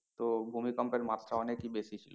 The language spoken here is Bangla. তো ভূমিকম্পের মাত্রা অনেকেই বেশি ছিল।